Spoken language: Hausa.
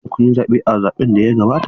Shin kun yi zaɓe a zaɓen da ya gabata?